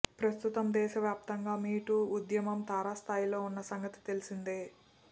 ప్రస్తుతం దేశ వ్యాప్తంగా మీటూ ఉద్యమం తారాస్థాయిలో ఉన్న సంగతి తెలిసిందే